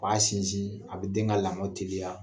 A b'a sinsin, a bɛ den ka lamɔli teliya.